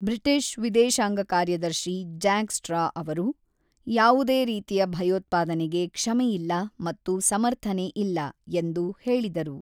British ವಿದೇಶಾಂಗ ಕಾರ್ಯದರ್ಶಿ Jack Straw ಅವರು "ಯಾವುದೇ ರೀತಿಯ ಭಯೋತ್ಪಾದನೆಗೆ ಕ್ಷಮೆಯಿಲ್ಲ ಮತ್ತು ಸಮರ್ಥನೆ ಇಲ್ಲ" ಎಂದು ಹೇಳಿದರು.